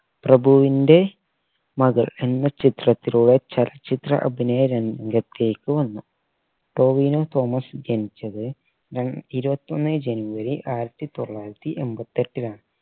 പ്രഭുവിന്റെ മകൾ എന്ന ചിത്രത്തിലൂടെ ചലച്ചിത്ര അഭിനയ രംഗത്തേക്ക് വന്നു ടോവിനോ തോമസ് ജനിച്ചത്ര ഇരുവത്തൊന്ന് january ആയിരത്തി തൊള്ളായിരത്തി എൺപത്തെട്ടിലാണ്